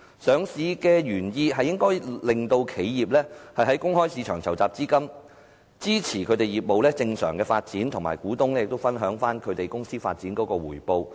上市的原意應該是令企業在公開市場籌集資金，支持業務正常發展，以及讓股東分享公司發展的回報。